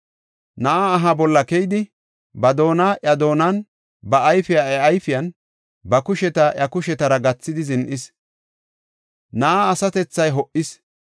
Na7aa aha bolla keyidi, ba doona iya doonan, ba ayfiya iya ayfiyan, ba kusheta iya kushetara gathidi zin7is; na7aa asatethay ho77is.